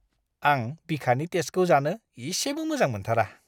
आं बिखानि टेस्टखौ जानो इसेबो मोजां मोन्थारा!